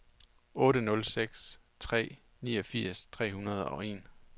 otte nul seks tre niogfirs tre hundrede og en